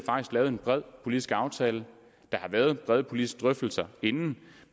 lavet en bred politisk aftale der har været brede politiske drøftelser inden